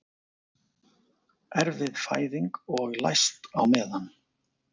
Erfið fæðing og læst á meðan